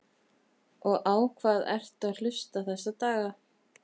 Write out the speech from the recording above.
og á hvað ertu að hlusta þessa daga?